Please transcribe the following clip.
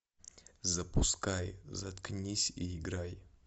запускай заткнись и играй